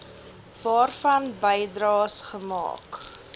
waarvan bydraes gemaak